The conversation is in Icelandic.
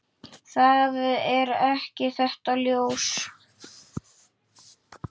Það er ekki þetta ljós.